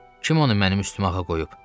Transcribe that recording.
Kim onu mənim üstümə ağa qoyub?